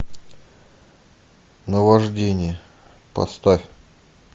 наваждение поставь